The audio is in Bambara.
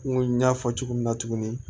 N ko n y'a fɔ cogo min na tuguni